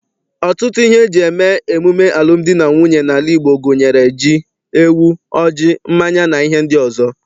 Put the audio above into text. Ọtụtụ ihe eji eme emume alụmdi na nwunye n'ala Igbo gunyere ji, ewu, ọjị, mmanya, na ihe ndị ọzọ.